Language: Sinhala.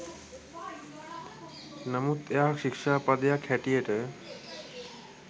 නමුත් එයා ශික්ෂා පදයක් හැටියට